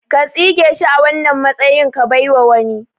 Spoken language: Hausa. Ko tsige shi a wannan matsayin ka baiwa wani